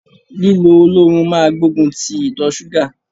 Lílo oloorun máa gbógun ti ìtọ ṣúgà.